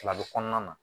Fila bɛ kɔnɔna na